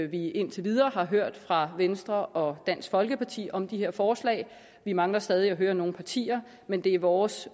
vi indtil videre har hørt fra venstre og dansk folkeparti om de her forslag vi mangler stadig at høre nogle partier men det er vores